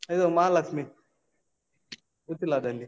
ಇದು ಮಹಾಲಕ್ಷಿ, ಉಚ್ಚಿಲದಲ್ಲಿ.